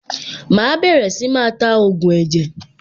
Màá bẹ̀rẹ̀ sí máa ta ògùn ẹ̀jẹ̀.